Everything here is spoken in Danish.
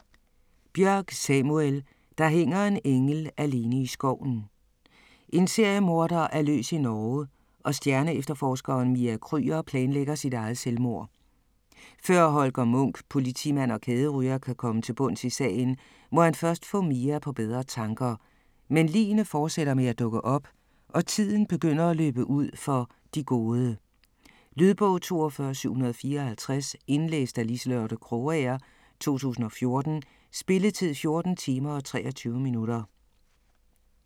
Bjørk, Samuel: Der hænger en engel alene i skoven En seriemorder er løs i Norge og stjerneefterforskeren Mia Krüger planlægger sit eget selvmord. Før Holger Munch, politimand og kæderyger, kan komme til bunds i sagen, må han først få Mia på bedre tanker. Men ligene fortsætter med at dukke op og tiden begynder at løbe ud for "de gode". Lydbog 42754 Indlæst af Liselotte Krogager, 2014. Spilletid: 14 timer, 23 minutter.